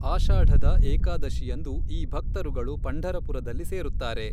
ಆಷಾಢದ ಏಕಾದಶಿಯಂದು ಈ ಭಕ್ತರುಗಳು ಪಂಢರಪುರದಲ್ಲಿ ಸೇರುತ್ತಾರೆ.